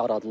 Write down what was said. yaradılıb.